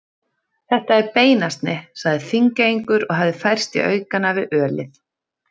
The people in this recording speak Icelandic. Þetta er beinasni, sagði Þingeyingur og hafði færst í aukana við ölið.